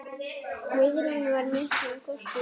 Guðrún var miklum kostum gædd.